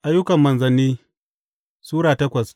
Ayyukan Manzanni Sura takwas